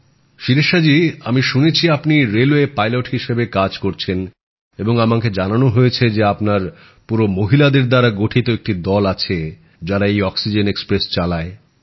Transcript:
শিরিষা জি আমি শুনেছি আপনি রেলওয়ে পাইলট হিসেবে কাজ করছেন এবং আমাকে জানানো হয়েছে যে আপনার পুরো মহিলাদের দ্বারা গঠিত একটি দল আছে যাঁরা এই অক্সিজেন এক্সপ্রেস চালায়